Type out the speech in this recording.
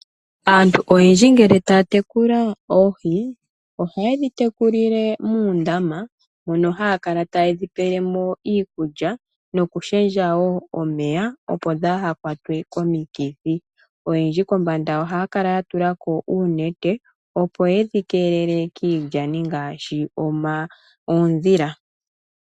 Aantu oyendji ngele taya tekula oohi ohaye dhi tekulile muundama mono haya kala taye dhipelemo iikulya nokushendja woo omeya opo dhaahakwatwe komukithi. Oyendji kombanda ohaa kala yatulako oonete opo yedhi keelele kiilyani ngaashi oondhila.